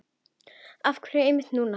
Af hverju einmitt núna?